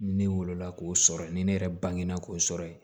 Ne wolo la k'o sɔrɔ ni ne yɛrɛ bange na k'o sɔrɔ ye